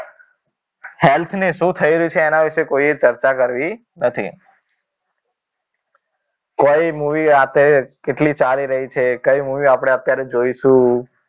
Health ને શું થઈ રહ્યું છે એના વિશે કોઈ ચર્ચા કરી કરવી નથી કઈ movie અત્યારે કેટલી ચાલી રહી છે કઈ movie આપણે અત્યારે જોઈશું